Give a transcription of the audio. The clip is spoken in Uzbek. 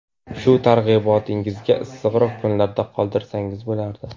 Shu targ‘ibotingizni issiqroq kunlarga qoldirsangiz bo‘lardi.